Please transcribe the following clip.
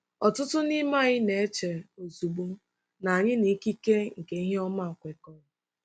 Ọtụtụ n'ime anyị na-eche ozugbo na anyị na ikike nke ihe ọma kwekọrọ.